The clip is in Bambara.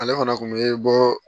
Ale fana kun be bɔ